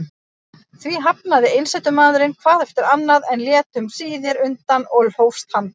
Því hafnaði einsetumaðurinn hvað eftir annað, en lét um síðir undan og hófst handa.